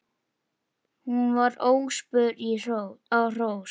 Hún var óspör á hrós.